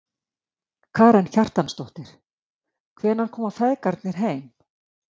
Karen Kjartansdóttir: Hvenær koma feðgarnir heim?